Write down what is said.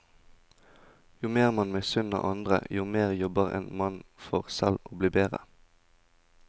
Jo mer man misunner andre, jo mer jobber en mann for selv å bli bedre.